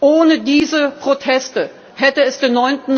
Ohne diese Proteste hätte es den